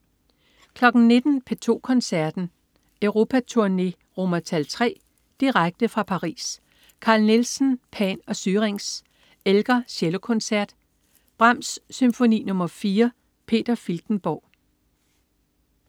19.00 P2 Koncerten. Europaturné (III). Direkte fra Paris. Carl Nielsen: Pan og Syrinx. Elgar: Cellokoncert. Brahms: Symfoni nr. 4. Peter Filtenborg